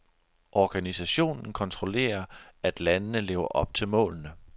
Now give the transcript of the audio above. Organisationen kontrollerer, at landene lever op til målene.